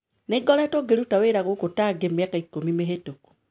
Nĩ ngoretwo ngĩruta wĩra gũkũ Tangy mĩaka ikũmi mĩhĩtũku